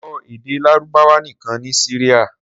Sọ èdè Lárúbáwá nìkan ní Syria!